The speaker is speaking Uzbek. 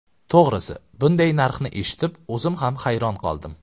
To‘g‘risi, bunday narxni eshitib, o‘zim ham hayron qoldim.